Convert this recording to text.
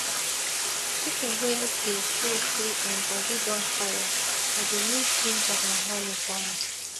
chicken wey dey show say im bodi don tire i dey mix ginger and honey for am